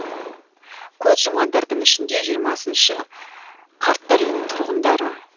көз жұмғандардың ішінде жиырмасыншы қарттар үйінің тұрғындары